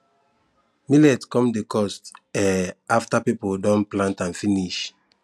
millet come dey cost um after people don plant am finish